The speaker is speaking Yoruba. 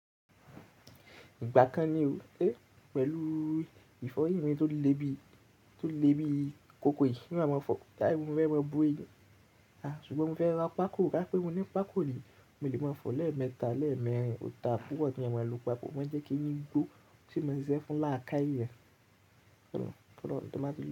Ìgbà kan ni o, é pẹ̀lú ìfẹ́ orí mi tó lé bí tó lé bí kòkò yìí. Nígbà mo fọ̀ káì, mo fẹ́ mọ bóyì. Ṣùgbọ́n mofẹ́ ra pákò kánípé mo ni pákò ni mo lè máa fọ̀ọ́ lẹ́ẹ̀ mẹ́ta lẹ́ẹ̀ mẹrin o daa púpọ̀ keyan maa lo pákò. Mo n jẹ́ kí eyín gbó, tí ósì mo ṣíṣẹ́ fún làákàyè.